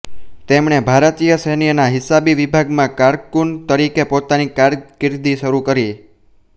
તેમણે ભારતીય સૈન્યના હિસાબી વિભાગમાં કારકૂન તરીકે પોતાની કારકિર્દી શરૂ કરી